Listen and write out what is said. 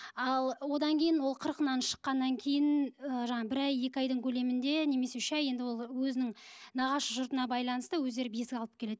ал одан кейін ол қырқынан шыққаннан кейін ы жаңағы бір ай екі айдың көлемінде немесе үш ай енді ол өзінің нағашы жұртына байланысты өздері бесік алып келеді